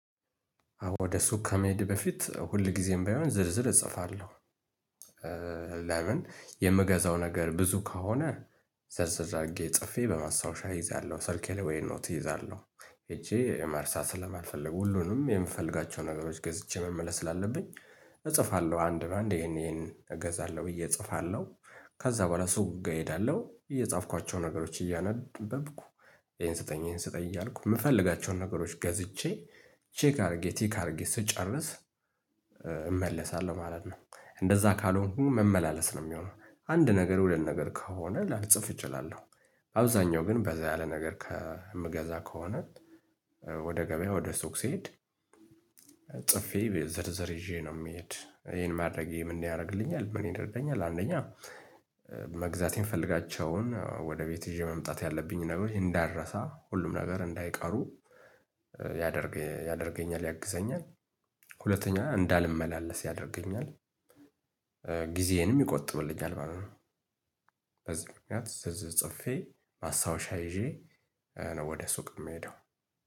አዎ ወደ ሱቅ ከመሄዴ በፊት ሁል ጊዜም ባይሆን ዝርዝር እጽፋለሁ። ለምን የምገዛው ነገር ብዙ ከሆነ። ዘርዘር አድርጌ ጽፌ በማስታወሻ እይዛለሁ ሰልኬ ላይ ወይ ኖት እይዛለሁ እቺ መርሳት ስለማልፈልግ ሁሉንም የምፈልጋቸው ነገሮች ገዝቼ መመለስ ስላለብኝ እጽፋለሁ። አንድ በአንድ ይሄን ይሄን እገዛለሁ ብዬ እጽፋለሁ። ከዛ በኋላ ሱቅ ጋር እሄዳለሁ እየጻፍኳቸው ነገሮች እያነበብኩ ይሄን ስጠኝ ይሄን ስጠኝ እያልኩ የምፈልጋቸውን ነገሮች ገዝቼ ቼክ አድርጌ ቲክ አድርጌ ስጨርስ። እመለሳለሁ ማለት ነው እንደዛ ካልሆንኩኝ መመላለስ ነው የሚሆነው። አንድ ነገር ሁለት ነገር ከሆነ ላልጽፍ እችላለሁ። አብዛኛው ግን በዛ ያለ ነገር ከምገዛ ከሆነ። ወደ ገበያ ወደ ሱቅ ስሄድ። ጽፌ ዝርዝር ይዤ ነው የምሄድ ይሄን ማድረጌ ምን ያደርግልኛል ምን ይደርገኛል? አንደኛ መግዛቴ ምፈልጋቸውን ወደ ቤት ይዤ መምጣት ያለብኝ ነገሮች እንዳልረሳ ሁሉም ነገር እንዳይቀሩ ያደርግ ያደርገኛል ያግዘኛል። ሁለተኛ እንዳልመላለስ ያደርገኛል። ጊዜዬንም ይቆጥብልኛል ማለት ነው። በዚህ ምክንያት ጽፌ ማስታወሻ ይዤ ነው ወደ ሱቅ የምሄደው።